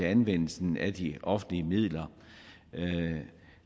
anvendelsen af de offentlige midler